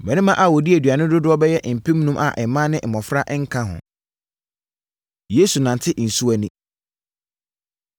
Mmarima a wɔdii aduane no dodoɔ bɛyɛ mpemnum a mmaa ne mmɔfra nka ho. Yesu Nante Nsuo Ani